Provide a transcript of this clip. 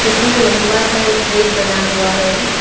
इसमें लंबा सा एक ब्रिज बना हुआ है।